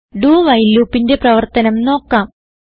do while loopന്റെ പ്രവർത്തനം നോക്കാം